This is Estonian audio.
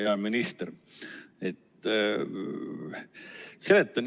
Hea minister!